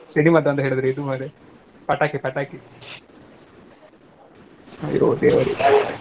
ಸಿಡಿಮದ್ದು ಅಂದ್ರೆ ಮಾರ್ರೆ ಇದು ಮಾರ್ರೆ. ಪಟಾಕಿ ಪಟಾಕಿ ಅಯ್ಯೋ ದೇವ್ರೇ.